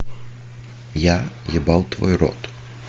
я ебал твой рот